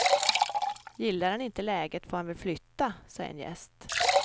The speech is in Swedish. Gillar han inte läget får han väl flytta, sa en gäst.